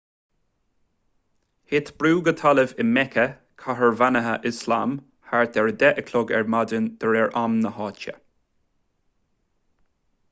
thit brú go talamh i meice cathair bheannaithe ioslam thart ar 10 a chlog ar maidin de réir am na háite